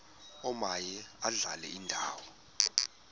omaye adlale indawo